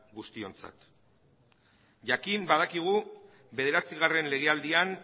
guztiontzat jakin badakigu bederatzigarren legealdian